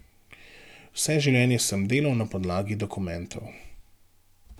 Vse življenje sem delal na podlagi dokumentov.